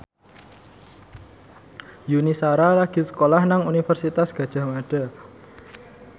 Yuni Shara lagi sekolah nang Universitas Gadjah Mada